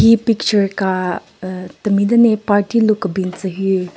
He picture ka ahh temi den le party lu kebin tsü hyu.